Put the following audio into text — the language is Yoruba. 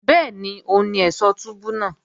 Bẹ́ẹ̀ni òun ni ẹ̀ṣọ̀ túbú náà